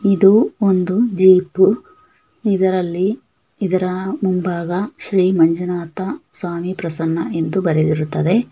ಇದು ಒಂದು ಜೀಪು ಇದರಲ್ಲಿ ಇದರ ಮುಂಭಾಗ ಶ್ರೀ ಮಂಜುನಾಥ ಸ್ವಾಮೀ ಪ್ರಸನ್ನ ಎಂದು ಬರೆದಿರುತ್ತದೆ.